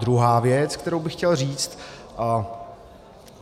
Druhá věc, kterou bych chtěl říct.